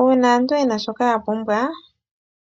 Uuna aantu yena shoka yapumbwa